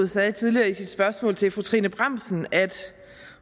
sagde tidligere i sit spørgsmål til fru trine bramsen